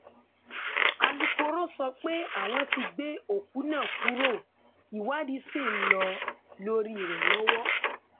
alūkkóró sọ pé àwọn tí gbé òkú náà kúrò ìwádìí ṣì ń lọ lórí rẹ lọwọ